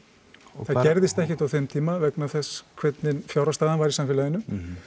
það gerðist ekkert á þeim tíma vegna þess hvernig fjárhagsstaðan var í samfélaginu